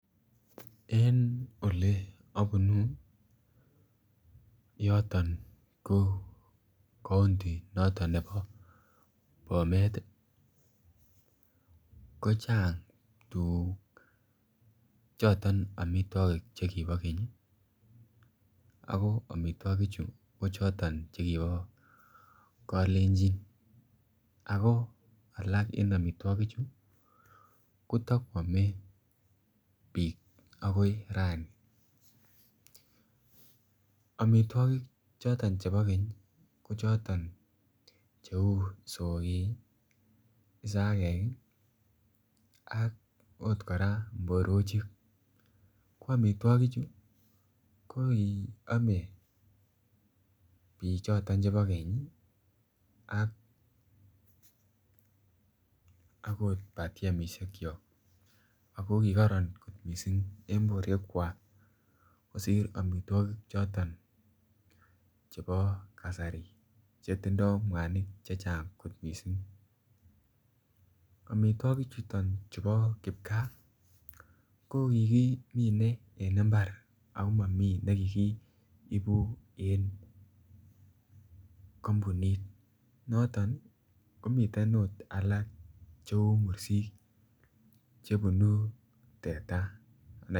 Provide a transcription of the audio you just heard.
En Ole abunu yoton ko kaunti noton nebo Bomet ko chang choton ami Che kibo keny ko amitwogichu ko choton Che kibo kalenjin ako alak en amitwogichu kotakoame bik agoi raini amitwogik choton chebo keny ko choton cheu isoik, isagek, ak okot kora mborochik ko amitwogichu ko ki ame bik choton chebo keny akot batiemisyekok ago ki koron kot mising en borwekwak kosir amitwogik choton chebo kasari Che tindoi mwanik Che Chang kot mising amitwogik chuton bo kipkaa ko ki kimine en mbar ago momi kit ne ki kiibu en kampunit noton Cheu mursik chebunu teta